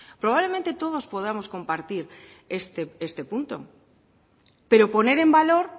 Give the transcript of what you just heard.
probablemente todos podamos compartir este punto pero poner en valor